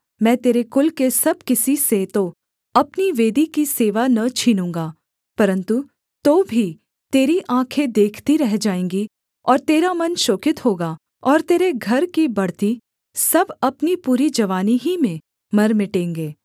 मैं तेरे कुल के सब किसी से तो अपनी वेदी की सेवा न छीनूँगा परन्तु तो भी तेरी आँखें देखती रह जाएँगी और तेरा मन शोकित होगा और तेरे घर की बढ़ती सब अपनी पूरी जवानी ही में मर मिटेंगे